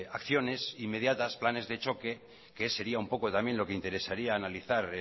acciones inmediatas planes de choque que sería un poco también lo que interesaría analizar